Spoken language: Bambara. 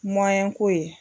ko ye